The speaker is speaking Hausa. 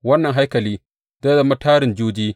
Wannan haikali zai zama tarin juji.